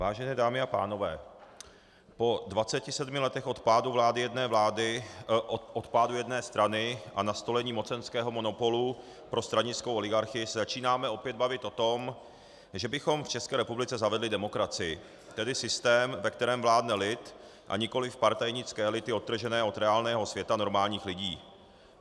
Vážené dámy a pánové, po 27 letech od pádu vlády jedné strany a nastolení mocenského monopolu pro stranickou oligarchii se začínáme opět bavit o tom, že bychom v České republice zavedli demokracii, tedy systém, ve kterém vládne lid, a nikoli partajnické elity odtržené od reálného světa normálních lidí.